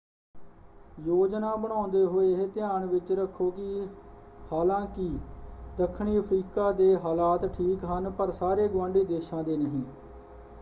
ਯੋਜਨਾ ਬਣਾਉਂਦੇ ਹੋਏ ਇਹ ਧਿਆਨ ਵਿੱਚ ਰੱਖੋ ਕਿ ਹਾਲਾਂਕਿ ਦੱਖਣੀ ਅਫ਼ਰੀਕਾ ਦੇ ਹਾਲਾਤ ਠੀਕ ਹਨ ਪਰ ਸਾਰੇ ਗੁਆਂਢੀ ਦੇਸ਼ਾਂ ਦੇ ਨਹੀਂ।